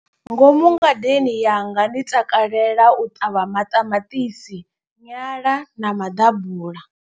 Ngomu ngadeni yanga ndi takalela u ṱavha maṱamaṱisi, nyala na maḓabula.